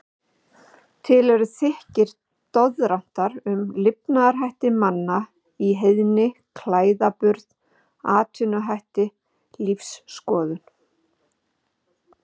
Til eru þykkir doðrantar um lifnaðarhætti manna í heiðni, klæðaburð, atvinnuhætti, lífsskoðun.